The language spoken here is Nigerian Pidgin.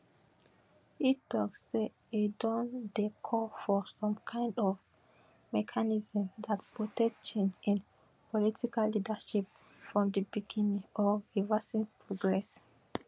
e tok say e don dey call for some kind of mechanism dat protect change in political leadership from di beginning or reversing progress